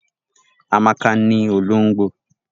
Amaka ni olongbo.